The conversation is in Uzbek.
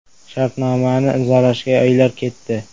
Shartnomani imzolashga oylar ketdi.